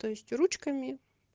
то есть ручками